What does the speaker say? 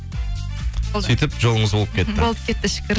сөйтіп жолыңыз болып кетті болып кетті шүкір